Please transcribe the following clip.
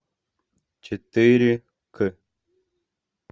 четыре к